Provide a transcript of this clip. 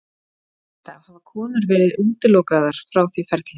Lengst af hafa konur verið útilokaðar frá því ferli.